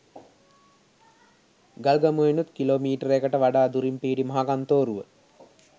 ගල්ගමුවෙනුත් kilometre කට වඩා දුරින් පිහිටි මහකත්නෝරුව